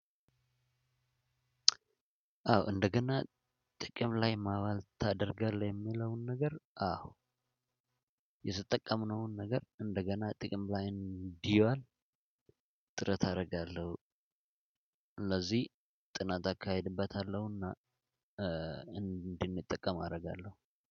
አዎ "እንደገና ጥቅም ላይ ማዋል ታደርጋለህ?" የሚለውን ነገር አዎ የተጠቀምነውን ነገር እንደገና ጥቅም ላይ እንዲዋል ጥረት አደርጋለሁ። እነዚህ ጥናት አካሄድበታለሁና እንድንጠቀም አደርጋለሁ።